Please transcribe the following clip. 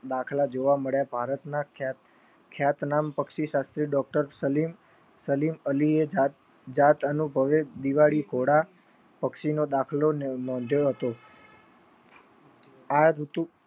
દાખલ જોવા મળ્યા. ભારતના ખેત નામ પક્ષી સાથે Doctor સલીમ અલીએ જાત અનુભવે દિવાળી ધોડા પક્ષીનો દાખલો મોઢે હતો. આ ઋતુ